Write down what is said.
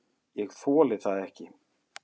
ÉG ÞOLI ÞAÐ EKKI!